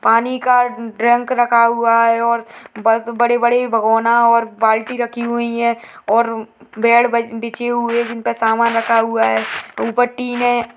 पानी का ट्रंक रखा हुआ है और बस बड़े-बड़े भगोना और बाल्टी रखी हुई है और बेड बजे बिछे हुए जिनपे सामान रखा हुआ है ऊपर टीन है।